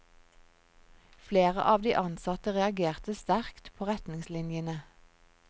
Flere av de ansatte reagerte sterkt på retningslinjene.